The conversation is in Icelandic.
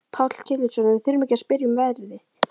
Páll Ketilsson: Og við þurfum ekki að spyrja um verðið?